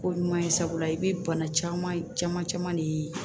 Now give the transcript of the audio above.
Ko ɲuman ye sabula i bɛ bana caman caman caman de ye